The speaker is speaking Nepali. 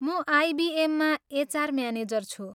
म आइबिएममा एचआर म्यानेजर छु।